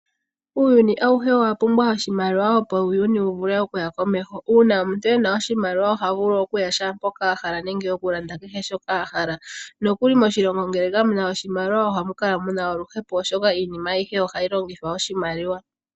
Uuyuni awuhe owa pumbwa oshimaliwa opo uuyuni wu vule okuta komeho. Uuna omuntu ena oshimaliwa oha vulu okuya shaampoka a hala nenge okulanda kehe shoka a hala. Nokuli ngele moshilongo kamuna oshimaliwa ohamu kala muna oluhepo, oshoka iinima ayihe ohayi longithwa oshimaliwa.